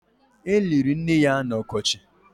E liri nne ya n'ọkọchị